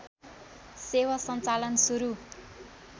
सेवा सञ्चालन सुरू